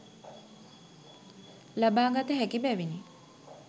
ලබා ගත හැකි බැවිනි